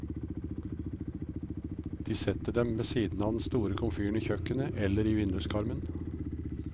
De setter dem ved siden av den store komfyren i kjøkkenet, eller i vinduskarmen.